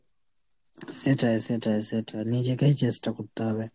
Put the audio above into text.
সেটাই সেটাই সেটা, নিজেকেই চেষ্টা করতে হবে।